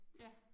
Ja